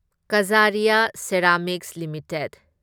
Kajaria Ceramics limited